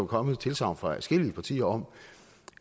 kommet et tilsagn fra adskillige partier om